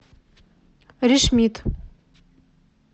решмит